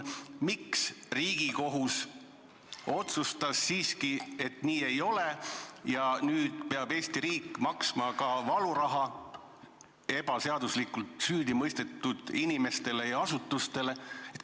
Miks Riigikohus otsustas siiski, et see nii ei ole, ja nüüd peab Eesti riik maksma ka valuraha ebaseaduslikult süüdi mõistetud inimestele ja asutustele?